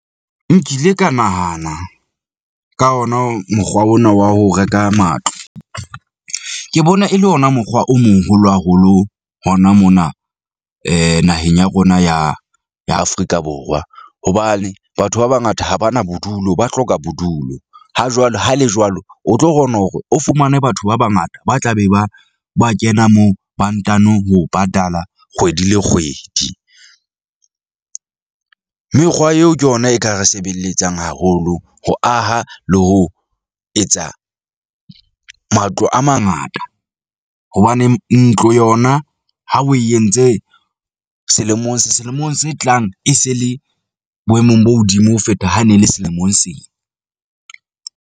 Nkile ka nahana ka ona mokgwa ona wa ho reka matlo. Ke bona e le ona mokgwa o moholo haholo hona mona , naheng ya rona ya ya Afrika Borwa. Hobane batho ba bangata ha ba na bodulo, ba hloka bodulo ha jwale ha le jwalo, o tlo kgona hore o fumane batho ba bangata ba tla be ba ba kena moo ba ntano ho patala kgwedi le kgwedi . Mekgwa eo ke yona e ka re sebeletsang haholo. Ho aha le ho etsa matlo a mangata. Hobaneng ntlo yona ha o e entse selemong selemong se tlang, e se e le boemong bo hodimo ho feta, ha ne le selemong sena.